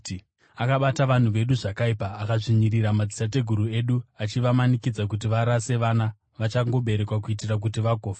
Akabata vanhu vedu zvakaipa akadzvinyirira madzitateguru edu achivamanikidza kuti varase vana vachangoberekwa kuitira kuti vagofa.